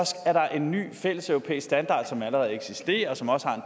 er en ny fælles europæisk standard som allerede eksisterer og som også